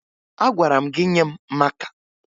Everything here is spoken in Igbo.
Agwara m gị nye m maka!